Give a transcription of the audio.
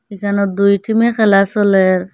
এখানে দুই টিমে খেলা চলের ।